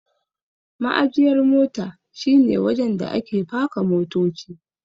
Ma'ajiyar mota shi ne wajen da ake paka motoci.